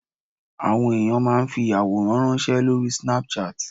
àwọn ènìyàn ma n fi aworan ranṣẹ Lori Snapchat